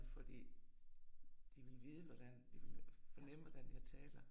Fordi de ville vide hvordan de vil fornemme, hvordan jeg taler